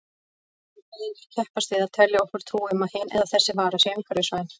Framleiðendur keppast við að telja okkur trú um að hin eða þessa vara sé umhverfisvæn.